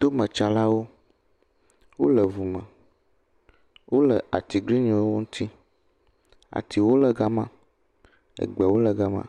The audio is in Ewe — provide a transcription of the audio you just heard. Tometsalawo, wole ŋume. Wole atiglinyiwo ŋuti. Atiwo le gama. Egbewo le gama.